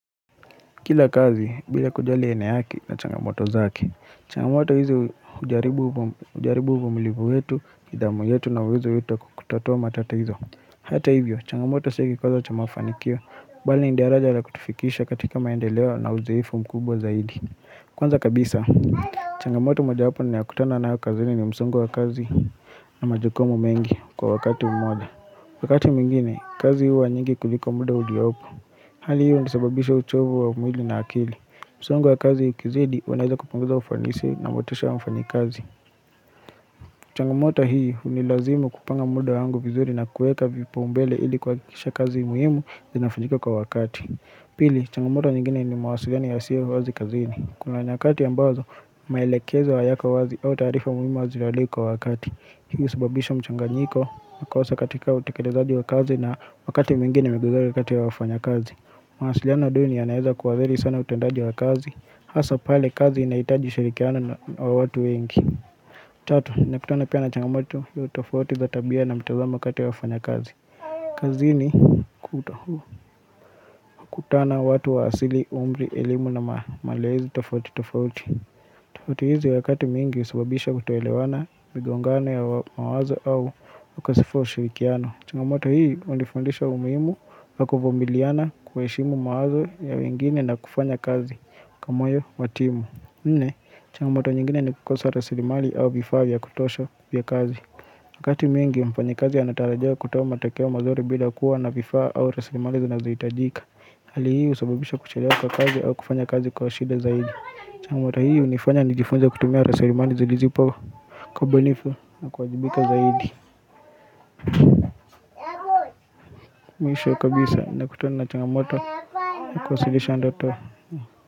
Kila kazi, bila kujali eneo yake ina changamoto zake, changamoto hizo hujaribu uvumilivu wetu, nidhamu yetu na uwezo yetu kukutatua matatizo. Hata hivyo, changamoto sio kikwaza cha mafanikio, bali ni daraja la kutifikisha katika maendeleo na uzoefu mkubwa zaidi. Kwanza kabisa, changamoto mojawapo ninaokutana nayo kazini ni msungo wa kazi na majukumu mengi kwa wakati wa muda. Wakati mwingine kazi huwa nyingi kuliko mda uliopo. Hali hiyo husababisha uchovu wa mwili na akili. Msongo wa kazi ikizidi unaeza kupunguza ufanisi na motisha wa mfanyikazi. Changamoto hii hunilazimu kupanga muda wangu vizuri na kuweka vipaa umbele ili kuhakisha kazi muhimu inafanyika kwa wakati. Pili, changamoto nyingine ni mawasiliano yasiyo wazi kazini. Kuna nyakati ambazo, maelekezo hayako wazi au taarifa muhimu wazi kwa wakati. Hii husababisha mchanganyiko na kukosa katika utekelezaji wa kazi na wakati mwingine kati wa wafanya kazi. Mawasiliano duni yanaeza kuharibu sana utendaji wa kazi hasa pale kazi inahitaji shirikiano wa watu wengi. Tatu, nimekutana pia na changamoto tofauti za tabia na mtazamo kati ya wafanyakazi kazini kutana watu wa asili, umri, elimu na malezi tofauti tofauti. Tofauti hizi wakati mwingi husubabisha kutoelewana, migongano ya mawazo au ukashifu wa ushirikiano. Changamoto hii hunifundisha umuhimu wa kuvumiliana kuheshimu mawazo ya wengine na kufanya kazi kwa moyo wa timu Nne, changamoto nyingine ni kukosa rasilimali au vifaa vya kutosha vya kazi Wakati mwingi mfanyikazi anatarajiwa kutoa matokeo mazuri bila kuwa na vifaa au rasilimali zinazohitajika. Hali hii husababisha kuchelewa kwa kazi au kufanya kazi kwa shida zaidi. Changamoto hii hunifanya nijifunze kutumia rasilimali zilizipo kwa ubunifu na kuajibika zaidi Mwisho kabisa nakutuna na changamoto ili kuwasilisha ndoto.